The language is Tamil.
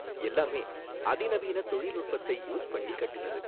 எல்லாமே அதிநவீன தொழில்நுட்பத்தை யூஸ் பண்ணி கட்டுனது.